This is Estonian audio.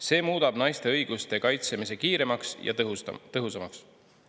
See muudab naiste õiguste kaitsmise kiiremaks ja tõhusamaks.